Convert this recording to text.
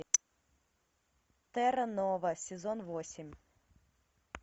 терра нова сезон восемь